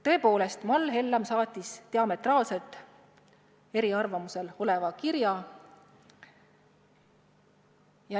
Tõepoolest, Mall Hellam saatis diametraalselt eri arvamusega kirja.